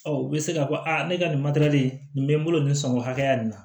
Ɔ u bɛ se k'a fɔ a ne ka nin nin bɛ n bolo nin san o hakɛya nin na